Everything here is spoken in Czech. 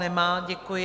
Nemá, děkuji.